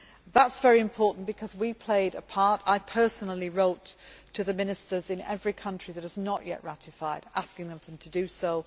That is very important because we played a part I personally wrote to the ministers in every country that had not yet ratified, asking them to do